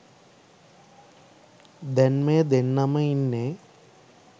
දැන් මේ දෙන්නම ඉන්නේ